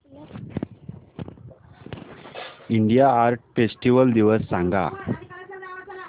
India art festival दिवस सांग